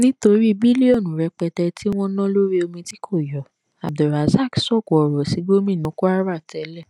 nítorí bílíọnù rẹpẹtẹ tí wọn ná lórí omi tí kò yọ abdulrasaq sóko ọrọ sí gómìnà kwara tẹlẹ